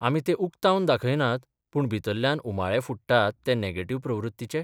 आमी तें उक्तावन दाखयनात, पूण भितरल्यान उमाळे फुट्टात ते नॅगेटिव्ह प्रवृत्तीचे?